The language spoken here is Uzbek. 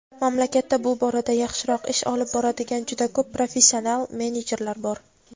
mamlakatda bu borada yaxshiroq ish olib boradigan "juda ko‘p professional menejerlar" bor.